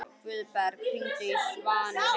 Guðberg, hringdu í Svanheiði.